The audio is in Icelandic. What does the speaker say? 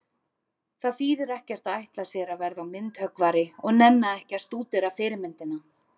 Það þýðir ekkert að ætla sér að verða myndhöggvari og nenna ekki að stúdera fyrirmyndina.